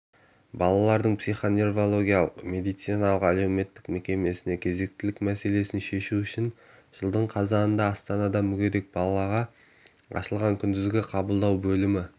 балалардың психоневрологиялық медициналық-әлеуметтік мекемесіне кезектілік мәселесін шешу үшін жылдың қазанында астанада мүгедек-балаға ашылған күндізгі қабылдау бөлімі